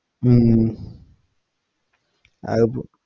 ഉം അതിപ്പോ